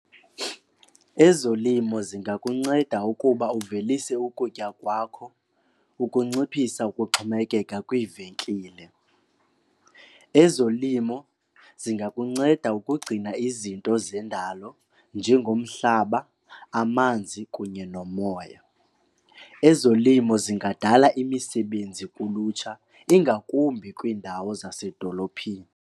Ezolimo zingakunceda ukuba uvelise ukutya kwakho ukunciphisa ukuxhomekeka kwiivenkile. Ezolimo zingakunceda ukugcina izinto zendalo njengomhlaba, amanzi kunye nomoya. Ezolimo zingadala imisebenzi kulutsha ingakumbi kwiindawo zasedolophini.